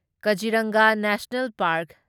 Kaziranga national park